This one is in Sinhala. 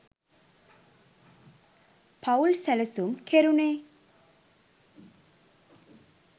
පවුල් සැලසුම් කෙරුණේ.